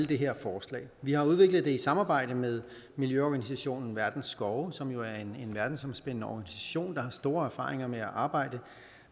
det her forslag vi har udviklet det i samarbejde med miljøorganisationen verdens skove som jo er en verdensomspændende organisation der har store erfaringer med at arbejde